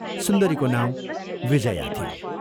सुन्दरीको नाउँ विजया थियो।